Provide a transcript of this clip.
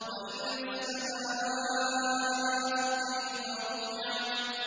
وَإِلَى السَّمَاءِ كَيْفَ رُفِعَتْ